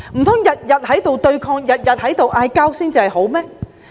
難道整天對抗爭拗，才算是好嗎？